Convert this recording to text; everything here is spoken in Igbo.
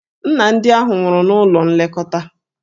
Nna ndị ahụ nwụrụ n'ụlọ nlekọta.